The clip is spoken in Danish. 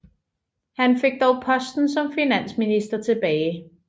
Han fik dog posten som finansminister tilbage